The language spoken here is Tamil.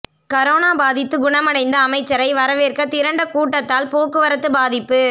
கரோனா பாதித்து குணமடைந்த அமைச்சரை வரவேற்க திரண்ட கூட்டத்தால் போக்குவரத்து பாதிப்பு